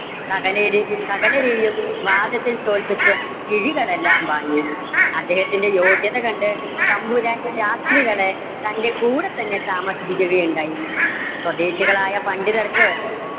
സകലരെ സകലരെയും വാദത്തിൽ തോൽപ്പിച്ച് കിഴികളെല്ലാം വാങ്ങി. അദ്ദേഹത്തിന്‍ടെ യോഗ്യത കണ്ട് തമ്പുരാൻ ശാസ്ത്രികളെ തന്‍ടെ കൂടെ തന്നെ താമസിപ്പിക്കുകയുണ്ടായി. സ്വദേശികൾ ആയ പണ്ഡിതർക്ക്